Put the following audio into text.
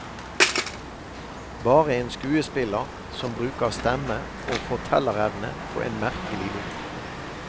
Bare en skuespiller, som bruker stemme og fortellerevne på en merkelig bok.